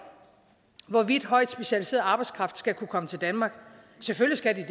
hvorvidt højt specialiseret arbejdskraft skal kunne komme til danmark selvfølgelig